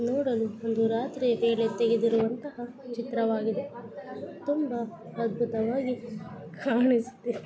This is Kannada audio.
ನೋಡಲು ಒಂದು ರಾತ್ರಿಯ ವೇಳೆ ತೆಗೆದಿರುವಂತಹ ಚಿತ್ರವಾಗಿದೆ ತುಂಬಾ ಅದ್ಭುತವಾಗಿ ಕಾಣಿಸುತೆ .